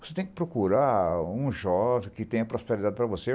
Você tem que procurar um jovem que tenha prosperidade para você.